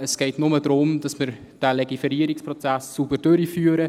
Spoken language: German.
Es geht nur darum, dass wir diesen Legiferierungsprozess sauber durchführen.